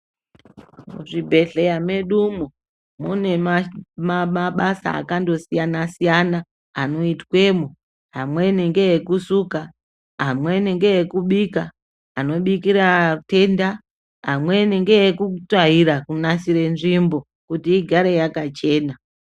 Muzvibhehleya mwedumwo mune mabasa akandosiyana siyana anoitwemo amweni ngeekusuka, amweni ngeekubika anobikira atenda, amweni ngeekutsvaira kunasire nzvimbo kuti igare yakachena.